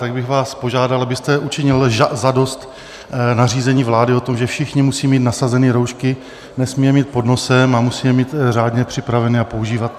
Tak bych vás požádal, abyste učinil zadost nařízení vlády o tom, že všichni musí mít nasazeny roušky, nesmí je mít pod nosem a musí je mít řádně připraveny a používat.